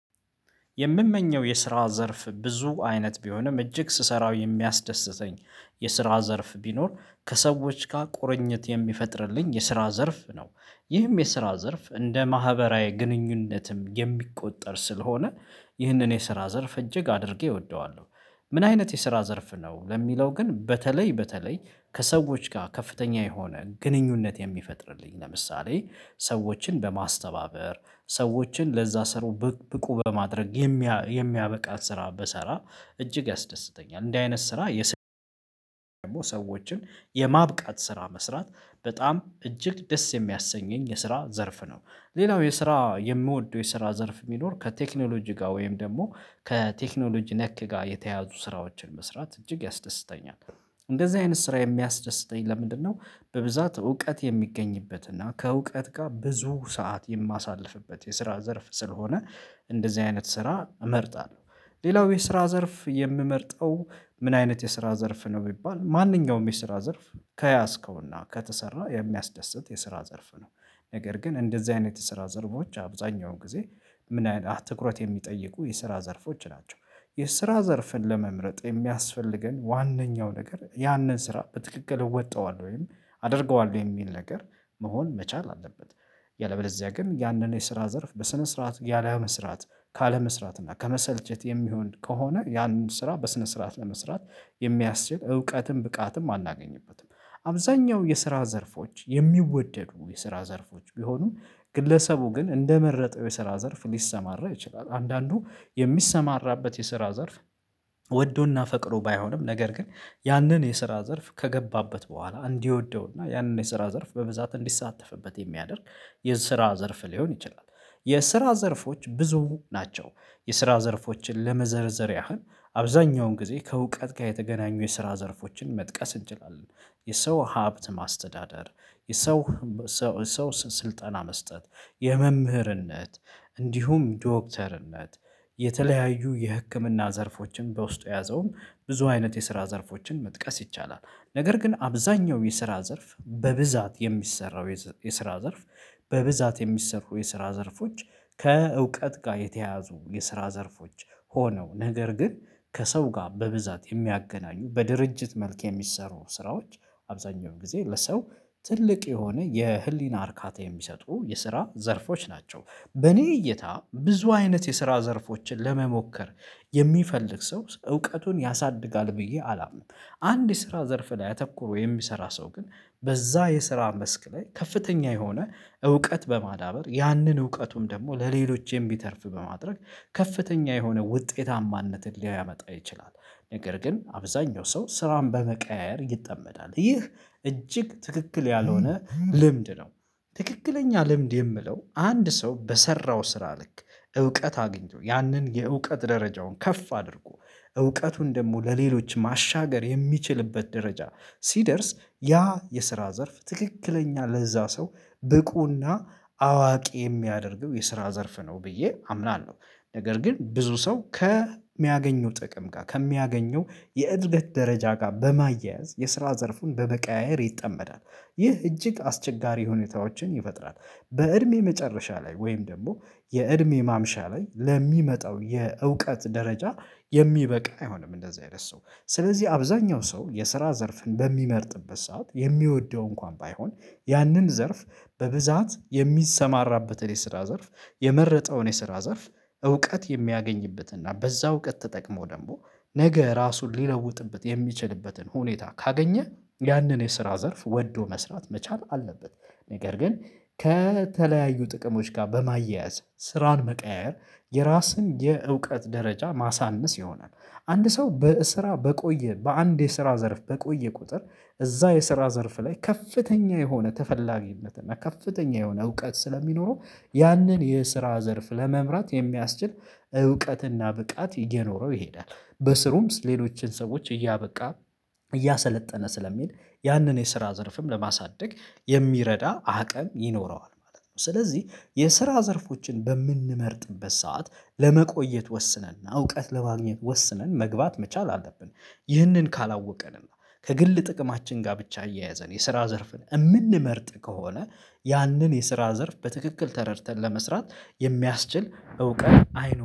የምመኘው የስራ ዘርፍ ብዙ አይነት ቢሆንም እጅግ ስሰራው የሚያስደስተኝ የስራ ዘርፍ ቢኖር ከሰዎች ጋር ቁርኝት የሚፈጥርልኝ የስራ ዘርፍ ነው። ይህም የስራ ዘርፍ እንደ ማህበራዊ ግንኙነትም የሚቆጠር ስለሆነ ይህንን የስራ ዘርፍ እጅግ አድርጌ እወደዋለሁ። "ምን አይነት የስራ ዘርፍ ነው?" ለሚለው ግን በተለይ በተለይ ከሰዎች ጋር ከፍተኛ የሆነ ግንኙነት የሚፈጥርልኝ። ለምሳሌ ሰዎችን በማስተባበር፣ ሰዎችን ለዛ ስራው ብቅ ብቁ በማድረግ የሚያ የሚያበቃን ስራ ብሰራ እጅግ ያስደስተኛል። እንዲህ አይነት ስራ ብሰራ ደግሞ ሰዎችን የማብቃት ስራ መስራት በጣም እጅግ ደስ የሚያሰኘኝ የስራ ዘርፍ ነው። ሌላው የስራ የምወደው የስራ ዘርፍ ቢኖር ከቴክኖሎጂ ጋር ወይም ደግሞ ከቴክኖሎጂ ነክ ጋር የተያያዙ ስራዎችን መስራት እጅግ ያስደስተኛል። "እንደዚህ አይነት ስራ የሚያስደስተኝ ለምንድነው?" በብዛት እውቀት የሚገኝበት እና ከእውቀት ጋር ብዙ ሰዓት የማሳልፍበት የስራ ዘርፍ ስለሆነ እንደዚህ አይነት ስራ እመርጣለሁ። ሌላው የስራ ዘርፍ የምመርጠው ምን አይነት የስራ ዘርፍ ነው ቢባል ማንኛውም የስራ ዘርፍ ከያዝከውና ከተሰራ የሚያስደስት የስራ ዘርፍ ነው፤ ነገር ግን እንደዚህ አይነት የስራ ዘርፎች አብዛሃኛውን ጊዜ ምን ያህል ትኩረት የሚጠይቁ የስራ ዘርፎች ናቸው። የስራ ዘርፍን ለመምረጥ የሚያስፈልገን ዋነኛው ነገር ያንን ስራ በትክክል እወጣዋለሁ ወይም አደርገዋለሁ የሚል ነገር መሆን መቻል አለበት። ያለበዚያ ግን ያንን የስራ ዘርፍ በስነ ስርዓት ያለመስራት ካለመስራት እና ከመሰልቸት የሚሆን ከሆነ ያንን ስራ በስነ ስርዓት ለመስራት የሚያስችል እውቀትም ብቃትም አናገኝበትም። አብዛኛው የስራ ዘርፎች የሚወደዱ የስራ ዘርፎች ቢሆኑም፤ ግለሰቡ ግን እንደመረጠው የስራ ዘርፍ ሊሰማራ ይችላል። አንዳንዱ የሚሰማራበት የስራ ዘርፍ ወዶና ፈቅዶ ባይሆንም ነገር ግን ያንን የስራ ዘርፍ ከገባበት በኋላ እንዲወደውና ያንን የስራ ዘርፍ በብዛት እንዲሳተፍበት የሚያደርግ የስራ ዘርፍ ሊሆን ይችላል። የስራ ዘርፎች ብዙ ናቸው። የስራ ዘርፎችን ለመዘርዘር ያህል አብዛኛውን ጊዜ ከእውቀት ጋር የተገናኙ የስራ ዘርፎችን መጥቀስ እንችላለን። የሰው ሀብት ማስተዳደር፣ የሰው ሰው ስልጠና መስጠት፣ የመምህርነት፣ እንዲሁም ዶክተርነት፣ የተለያዩ የህክምና ዘርፎችን በውስጡ የያዘውም ብዙ አይነት የስራ ዘርፎችን መጥቀስ ይቻላል፤ ነገር ግን አብዛኛው የስራ ዘርፍ በብዛት የሚሰራው የስራ ዘርፍ በብዛት የሚሰሩ የስራ ዘርፎች ከእውቀት ጋር የተያያዙ የስራ ዘርፎች ሆነው ነገር ግን ከሰው ጋር በብዛት የሚያገናኙ በድርጅት መልክ የሚሰሩ ስራዎች አብዛኛውን ጊዜ ለሰው ትልቅ የሆነ የህሊና እርካታ የሚሰጡ የስራ ዘርፎች ናቸው። በእኔ እይታ ብዙ አይነት የስራ ዘርፎችን ለመሞከር የሚፈልግ ሰው እውቀቱን ያሳድጋል ብዬ አላምንም። አንድ የስራ ዘርፍ ላይ አተኩሮ የሚሰራ ሰው ግን በዛ የስራ መስክ ላይ ከፍተኛ የሆነ እውቀት በማዳበር ያንን እውቀቱን ደግሞ ለሌሎች የሚተርፍ በማድረግ ከፍተኛ የሆነ ውጤታማነትን ሊያመጣ ይችላል፤ ነገር ግን አብዛኛው ሰው ስራን በመቀያየር ይጠመዳል። ይህ እጅግ ትክክል ያልሆነ ልምድ ነው። ትክክለኛ ልምድ የምለው አንድ ሰው በሰራው ስራ ልክ እውቀት አግኝቶ ያንን የእውቀት ደረጃውን ከፍ አድርጎ እውቀቱን ደግሞ ለሌሎች ማሻገር የሚችልበት ደረጃ ሲደርስ ያ የስራ ዘርፍ ትክክለኛ ለዛ ሰው ብቁና አዋቂ የሚያደርገው የስራ ዘርፍ ነው ብዬ አምናለሁ፤ ነገር ግን ብዙ ሰው ከሚያገኘው ጥቅም ጋር ከሚያገኘው የእድገት ደረጃ ጋር በማያያዝ የስራ ዘርፉን በመቀያየር ይጠመዳል። ይህ እጅግ አስቸጋሪ ሁኔታዎችን ይፈጥራል። በእድሜ መጨረሻ ላይ ወይም ደግሞ የእድሜ ማምሻ ላይ ለሚመጣው የእውቀት ደረጃ የሚበቃ አይሆንም እንደዚህ አይነት ሰው። ስለዚህ አብዛኛው ሰው የስራ ዘርፍን በሚመርጥበት ሰዓት የሚወደው እንኳን ባይሆን ያንን ዘርፍ በብዛት የሚሰማራበትን የስራ ዘርፍ የመረጠውን የስራ ዘርፍ እውቀት የሚያገኝበትና በዛ እውቀት ተጠቅሞ ደግሞ ነገ ራሱን ሊለውጥበት የሚችልበትን ሁኔታ ካገኘ ያንን የስራ ዘርፍ ወዶ መስራት መቻል አለበት፤ ነገር ግን ከተለያዩ ጥቅሞች ጋር በማያያዝ ስራን መቀያየር የራስን የእውቀት ደረጃ ማሳነስ ይሆናል። አንድ ሰው በስራ በቆየ በአንድ የስራ ዘርፍ በቆየ ቁጥር እዛ የስራ ዘርፍ ላይ ከፍተኛ የሆነ ተፈላጊነት እና ከፍተኛ የሆነ እውቀት ስለሚኖረው ያንን የስራ ዘርፍ ለመምራት የሚያስችል እውቀትና ብቃት እየኖረው ይሄዳል። በስሩም ሌሎችን ሰዎች እያበቃ እያሰለጠነ ስለሚሄድ ያንን የስራ ዘርፍም ለማሳደግ የሚረዳ አቅም ይኖረዋል ማለት ነው። ስለዚህ የስራ ዘርፎችን በምንመርጥበት ሰዓት ለመቆየት ወስነንና እውቀት ለማግኘት ወስነን መግባት መቻል አለብን። ይህንን ካላወቀንና ከግል ጥቅማችን ጋር ብቻ አያያዘን የስራ ዘርፍን የምንመርጥ ከሆነ ያንን የስራ ዘርፍ በትክክል ተረድተን ለመስራት የሚያስችል እውቀት አይኖ